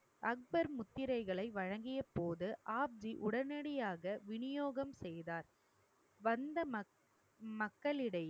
அக்பர் முத்திரைகளை வழங்கியபோது, ஆப்ஜி உடனடியாக விநியோகம் செய்தார் வந்த மக்~ மக்களிடையே